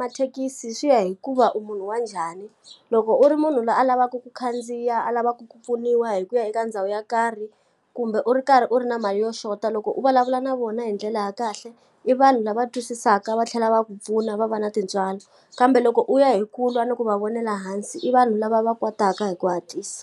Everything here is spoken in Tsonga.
mathekisi swi ya hi ku va u munhu wa njhani. Loko u ri munhu loyi a lavaku ku khandziya, a lavaku ku pfuniwa hi ku ya eka ndhawu yo karhi, kumbe u ri karhi u ri na mali yo xota loko u vulavula na vona hi ndlela ya kahle, i vanhu lava twisisaka va tlhela va ku pfuna, va va na tintswalo. Kambe loko u ya hi ku lwa ni ku va vonela hansi, i vanhu lava va kwataka hi ku hatlisa.